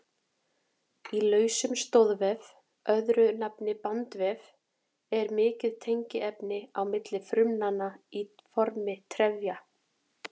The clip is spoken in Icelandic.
Í lausum stoðvef, öðru nafni bandvef, er mikið tengiefni á milli frumnanna í formi trefja.